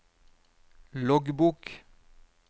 loggbok